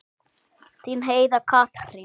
Þín Heiða Katrín.